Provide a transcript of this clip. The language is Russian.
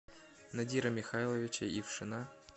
надира михайловича ившина